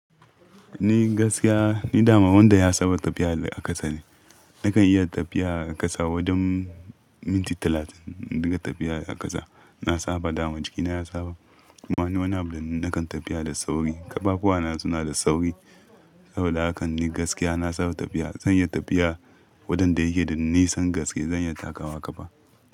Ni gaskiya ni dama wanda ya saba tafiya a ƙasa ne. Nakan iya tafiya a ƙasa wajen minti talatin in dinga tafiya a ƙasa. Na saba dama jikina ya saba. Kuma ni wanna abu da nakan tafiya da sauri, ƙafafuwana suna da sauri. Saboda haka ni gaskiya na saba tafiya. Zan iya tafiya waɗanda yake da nisan gaske zan iya takawa kafa.